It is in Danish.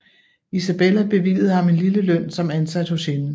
Isabella bevilligede ham en lille løn som ansat hos hende